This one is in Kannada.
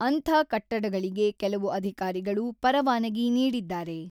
ಅಂಥ ಕಟ್ಟಡಗಳಿಗೆ ಕೆಲವು ಅಧಿಕಾರಿಗಳು ಪರವಾನಗಿ ನೀಡಿದ್ದಾರೆ.